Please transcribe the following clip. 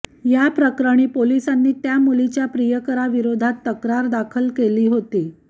याप्रकरणी पोलिसांनी त्या मुलीच्या प्रियकराविरोधात तक्रार दाखल केली होता